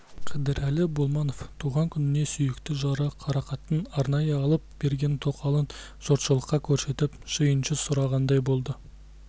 қыдырәлі болманов туған күніне сүйікті жары қарақаттың арнайы алып берген тоқалын жұртшылыққа көрсетіп сүйінші сұрағандай болды